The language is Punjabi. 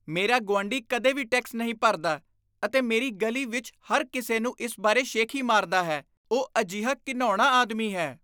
ਮੇਰਾ ਗੁਆਂਢੀ ਕਦੇ ਵੀ ਟੈਕਸ ਨਹੀਂ ਭਰਦਾ ਅਤੇ ਮੇਰੀ ਗਲੀ ਵਿੱਚ ਹਰ ਕਿਸੇ ਨੂੰ ਇਸ ਬਾਰੇ ਸ਼ੇਖੀ ਮਾਰਦਾ ਹੈ। ਉਹ ਅਜਿਹਾ ਘਿਣਾਉਣਾ ਆਦਮੀ ਹੈ।